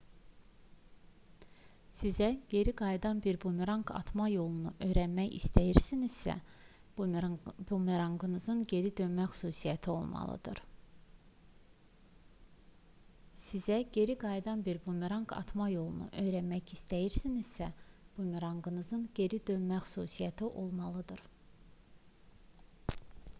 sizə geri qayıdan bir bumeranq atma yolunu öyrənmək istəyirsinizsə bumeranqınızın geri dönmə xüsusiyyəti olmalıdır